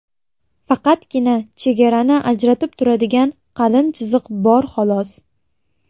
Faqatgina chegarani ajratib turadigan qalin chiziq bor xolos.